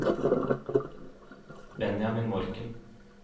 Benjamin Morken